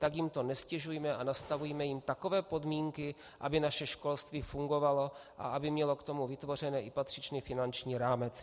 Tak jim to neztěžujme a nastavujme jim takové podmínky, aby naše školství fungovalo a aby mělo k tomu vytvořen i patřičný finanční rámec.